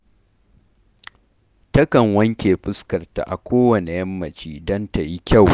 Takan wanke fuskarta a kowanne yammaci don ta yi kyau